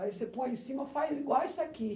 Aí você põe em cima, faz igual isso aqui.